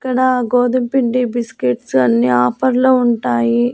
ఇక్కడ గోధుమపిండి బిస్కెట్స్ అన్ని ఆఫర్ లో ఉంటాయి.